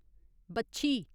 बच्छी